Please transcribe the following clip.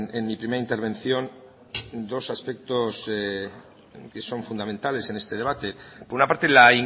en mi primera intervención dos aspectos que son fundamentales en este debate por una parte la